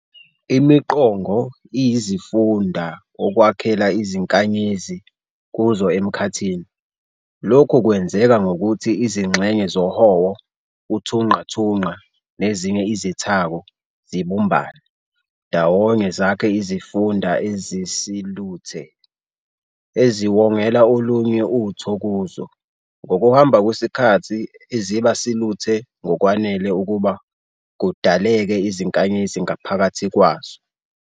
ImiQongo iyizifunda okwakheka izinkanyezi kuzo emkhathini, lokhu kwenzeka ngokuthi izingxenye zohowo, uthunqathunqa, nezinye izithako "zibumbane" ndawonye zakhe izifunda ezisiluthe, eziwongela olunye utho kuzo, ngokuhamba kwesikhathi eziba siluthe ngokwanele ukuba kudaleke izinkanyezi ngaphakathi kwazo.